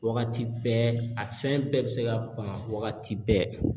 Wagati bɛɛ ,a fɛn bɛɛ be se ka ban wagati bɛɛ.